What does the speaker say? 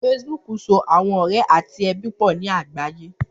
Facebook sọ̀ awọn ọrẹ̀ ati ẹbi pọ ni agbaye.